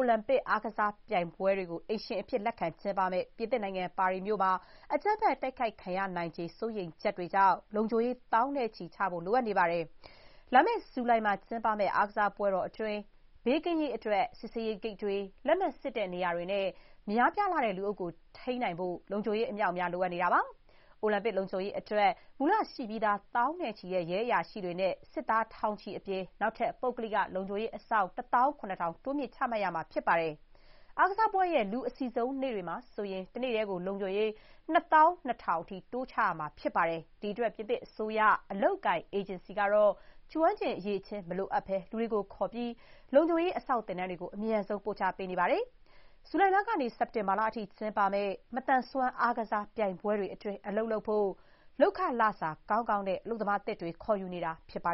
ုလံပစ် အားကစားပြိုင်ပွဲတွေကို အိမ်ရှင်အဖြစ် လက်ခံကျင်းပမဲ့ ပြင်သစ်မြို့တော် ပါရီမှာ အကြမ်းဖက် တိုက်ခိုက်ခံရနိုင်ခြေ စိုးရိမ်ချက်တွေကြောင့် လုံခြုံရေး သောင်းနဲ့ချီ လိုအပ်နေပါတယ်။ လာမဲ့ ဇူလိုင်မှာ စတင်မယ့် အားကစားပွဲတွေ အတွင်း ကစားသမားတွေနဲ့ ပရိသတ်တွေ ဘေးကင်းရေးအတွက် စစ်ဆေးရေးဂိတ်တွေ၊ လက်မှတ်စစ်တဲ့ နေရာတွေနဲ့ များပြားလှတဲ့ လူအုပ်ကို ထိန်းနိုင်ဖို့ လုံခြုံရေး အမြောက်အမြား လိုနေတာပါ။ အိုလံပစ်လုံခြုံရေး အတွက် မူလရှိပြီးသား သောင်းနဲ့ချီတဲ့ ရဲအရာရှိတွေနဲ့ စစ်သားထောင်ချီအပြင် နောက်ထပ် ပုဂ္ဂလိက လုံခြုံရေးအစောင့် ၁၇,၀၀၀ တိုးမြှင့်ချမှတ်ရမှာ ဖြစ်ပါတယ်။ အားကစားပွဲတွေရဲ့ လူအစည်ဆုံးနေ့တွေမှာ ဆိုရင် တနေ့တည်း လုံခြုံရေး ၂၂,၀၀၀ အထိ တိုးချရမှာ ဖြစ်ပါတယ်။ ဒီ့အတွက် ပြင်သစ်အစိုးရ အလုပ်အကိုင် အေဂျင်စီကတော့ ကျွမ်းကျင်အရည်အချင်း မလိုအပ်ဘဲ လူတွေကိုခေါ်ပြီး လုံခြုံရေး အစောင့်သင်တန်းတွေကို အမြန် ပို့ချပေးနေရပါတယ်။ ဇူလိုင်ကနေ စက်တင်ဘာ အထိ ကျင်းပမယ့် မသန်စွမ်းအားကစားပြိုင်ပွဲတွေ အတွင်း အလုပ်လုပ်ဖို့ လုပ်ခလစာ ကောင်းကောင်းနဲ့ အလုပ်သမားသစ်တွေ ခေါ်ယူနေတာပါ